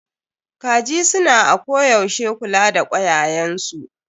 Kaji su na ako yaushe kula da kwayayen su.